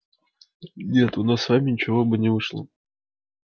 нет у нас с вами ничего бы не вышло